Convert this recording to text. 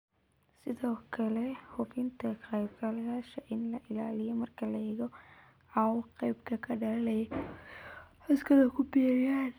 Sidoo kale hubinta ka qaybgalayaasha in la ilaaliyo marka la eego cawaaqibka ka dhalanaya inay codkooda ku biiriyaan.